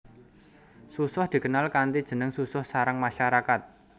Susoh dikenal kanthi jeneng susoh sarang masyarakat